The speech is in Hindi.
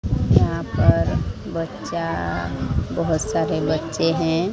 यहां पर बच्चा बहोत सारे बच्चे हैं।